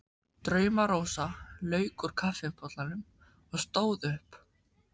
Drauma-Rósa lauk úr kaffibollanum og stóð upp.